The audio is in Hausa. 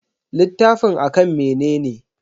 Littafin a kan mene ne?